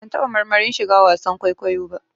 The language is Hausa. Ban taɓa marmarin shiga wasan kwaikwayo ba